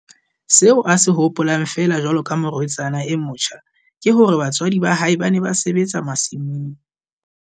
Seo a se hopolang feela jwalo ka morwetsana e motjha ke hore batswadi ba hae ba ne ba sebetsa masimong.